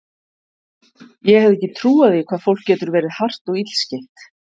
Ég hefði ekki trúað því hvað fólk getur verið hart og illskeytt.